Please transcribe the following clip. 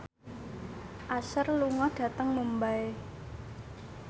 Usher lunga dhateng Mumbai